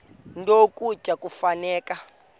nto ukutya kufuneka